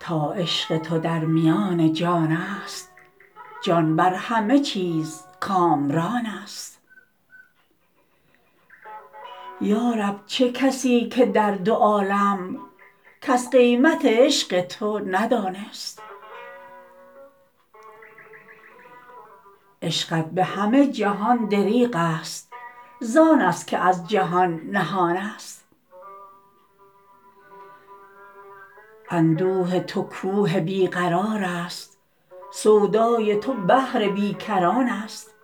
تا عشق تودر میان جان است جان بر همه چیز کامران است یارب چه کسی که در دو عالم کس قیمت عشق تو ندان است عشقت به همه جهان دریغ است زان است که از جهان نهان است اندوه تو کوه بی قرار است سودای تو بحر بی کران است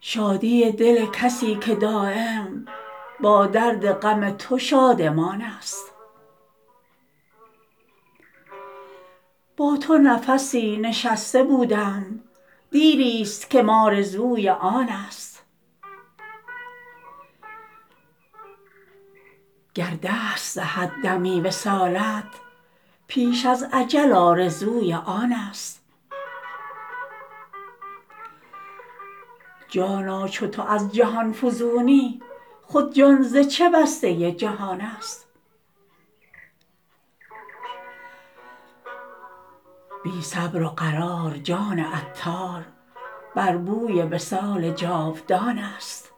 شادی دل کسی که دایم با درد غم تو شادمان است با تو نفسی نشسته بودم دیری است کم آرزوی آن است گر دست دهد دمی وصالت پیش از اجل آرزوی آن است جانا چو تو از جهان فزونی خود جان ز چه بسته جهان است بی صبر و قرار جان عطار بر بوی وصال جاودان است